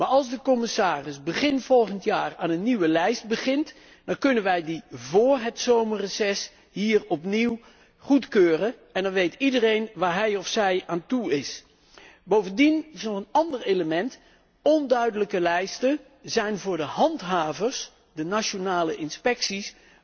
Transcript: Maar als de commissaris begin volgend jaar aan een nieuwe lijst begint, dan kunnen wij die vóór het zomerreces hier opnieuw goedkeuren en dan weet iedereen waar hij of zij aan toe is. Bovendien is er nog een ander element onduidelijke lijsten zijn voor de handhavers, de nationale inspecties,